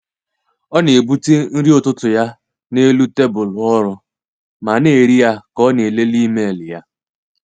Ọ na-ebute nri ụtụtụ ya n’elu tebụl ọrụ ma na-eri ya ka ọ na-elele email ya.